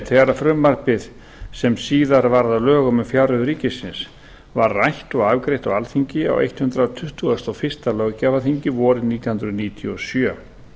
þegar frumvarpið sem síðar varð að lögum um fjárreiður ríkisins var rætt og afgreitt á alþingi á hundrað tuttugasta og fyrsta löggjafarþingi vorið nítján hundruð níutíu og sjö